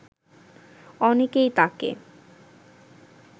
অনেকেই তাকে